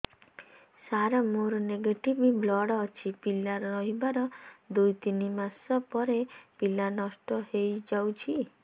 ସାର ମୋର negative blood ଅଛି ପିଲା ରହିବାର ଦୁଇ ତିନି ମାସ ପରେ ପିଲା ନଷ୍ଟ ହେଇ ଯାଉଛି